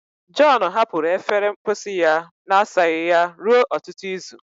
John hapụrụ efere mposi ya na-asaghị ya ruo ọtụtụ izu